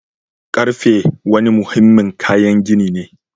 Karfe wani muhimmin kayan gini ne